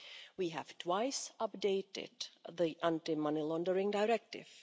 We have twice updated the Anti Money Laundering Directive.